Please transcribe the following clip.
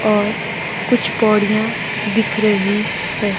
और कुछ पौडियां दिख रही है।